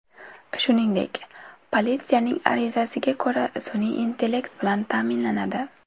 Shuningdek, politsiyaning arizasiga ko‘ra, sun’iy intellekt bilan ta’minlanadi.